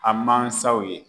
A mansaw ye